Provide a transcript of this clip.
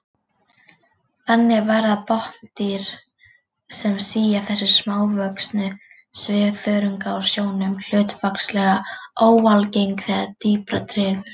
Þannig verða botndýr sem sía þessa smávöxnu svifþörunga úr sjónum hlutfallslega óalgeng þegar dýpra dregur.